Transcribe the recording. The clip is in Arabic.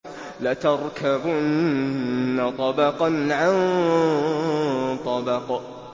لَتَرْكَبُنَّ طَبَقًا عَن طَبَقٍ